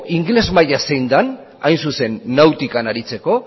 ingelesa maila zein den hain zuzen nautikan aritzeko